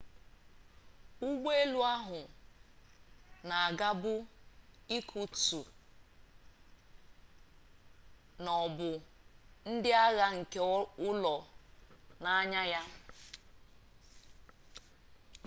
ụgbọelu ahụ na-agabu irkutsk na ọ bụ ndị agha nke ụlọ na-anya ya